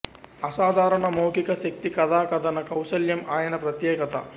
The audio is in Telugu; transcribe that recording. అసాధారణ మౌఖిక శక్తి కథా కథన కౌశలం ఆయన ప్రత్యేకత